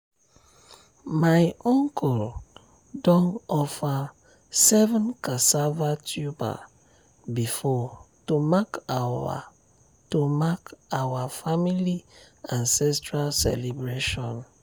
my uncle don offer seven cassava tuber before to mark our to mark our family ancestral celebration